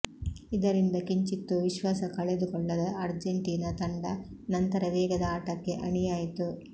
ಇದರಿಂದ ಕಿಂಚಿತ್ತೂ ವಿಶ್ವಾಸ ಕಳೆದುಕೊಳ್ಳದ ಅರ್ಜೆಂಟೀನಾ ತಂಡ ನಂತರ ವೇಗದ ಆಟಕ್ಕೆ ಅಣಿಯಾಯಿತು